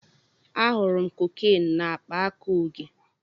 Ahụrụ m cocaine na akpa aka Oge.